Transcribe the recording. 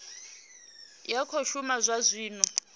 ya khou shuma zwa zwino